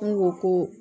N go ko